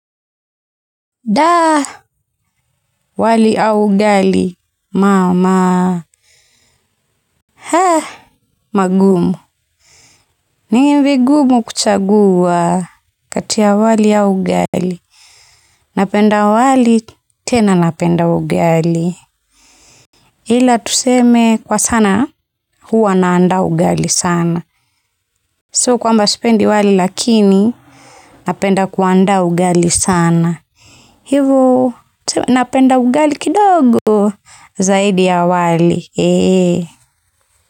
Wali au ugali, maa, maa, haa, magumu. Ni vigumu kuchagua, kati ya wali au ugali. Napenda wali, tena napenda ugali. Ila tuseme kwa sana, huwa naandaa ugali sana. Sio kwamba sipendi wali lakini, napenda kuandaa ugali sana. Hivo, napenda ugali kidogo, zaidi ya wali.